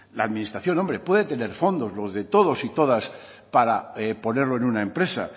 a administración hombre puede tener fondos los de todos y todas para ponerlo en una empresa